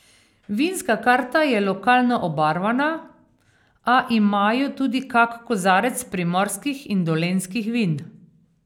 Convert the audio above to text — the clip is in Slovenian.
Vinska karta je lokalno obarvana, a imajo tudi kak kozarec primorskih in dolenjskih vin.